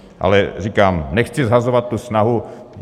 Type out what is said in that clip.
Ale říkám, nechci shazovat tu snahu.